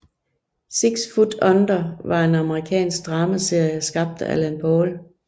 Six Feet Under var en amerikansk dramaserie skabt af Alan Ball